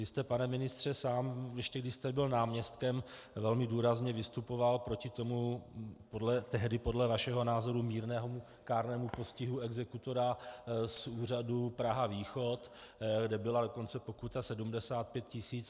Vy jste, pane ministře, sám, ještě když jste byl náměstkem, velmi důrazně vystupoval proti tomu tehdy podle vašeho názoru mírnému kárnému postihu exekutora z úřadu Praha-východ, kde byla dokonce pokuta 75 tisíc.